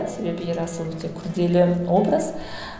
себебі ерасыл өте күрделі образ